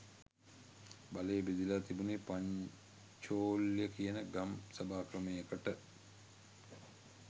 බලය බෙදිලා තිබුනේ පංචෝල්‍ය කියන ගම් සභා ක්‍රමයකට